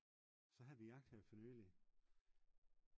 så havde vi jagt her for nylig